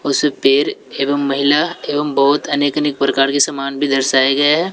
उस पेड़ एवं महिला एवं बहुत अनेक अनेक प्रकार के सामान भी दर्शाये गये है।